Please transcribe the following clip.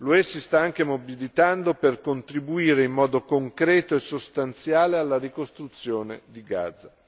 L'UE si sta anche mobilitando per contribuire in modo concreto e sostanziale alla ricostruzione di Gaza.